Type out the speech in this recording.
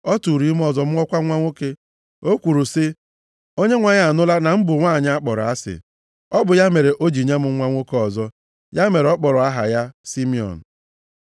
Ọ tụụrụ ime ọzọ mụọkwa nwa nwoke. O kwuru sị, “ Onyenwe anyị anụla na m bụ nwanyị a kpọrọ asị, ọ bụ ya mere o ji nye m nwa nwoke ọzọ.” Ya mere ọ kpọrọ aha ya Simiọn.